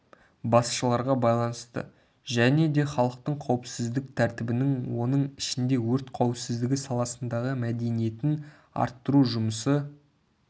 басшыларға байланысты және де халықтың қауіпсіздік тәртібінің оның ішінде өрт қауіпсіздігі саласындағы мәдениетін арттыру жұмысы